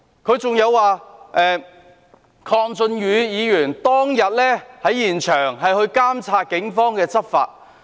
他亦提到，鄺俊宇議員當天在現場監察警方的執法。